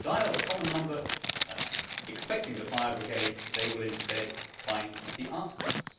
But if they dial a common number expecting the fire brigade, they will instead find the arsonists.